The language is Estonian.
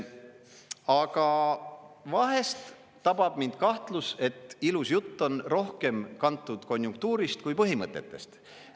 Aga vahest tabab mind kahtlus, et ilus jutt on rohkem kantud konjunktuurist kui põhimõtetest.